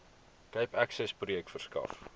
cape accessprojek verskaf